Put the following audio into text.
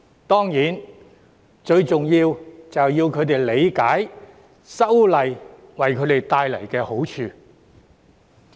當然，最重要就是要他們理解修例為他們帶來的好處。